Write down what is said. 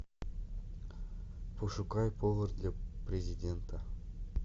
пошукай повар для президента